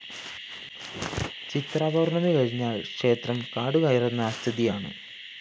ചിത്രാപൗര്‍ണി കഴിഞ്ഞാല്‍ ക്ഷേത്രം കാടുകയറുന്ന സ്ഥിതിയാണ്